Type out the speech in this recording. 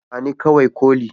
ba ni kawai koli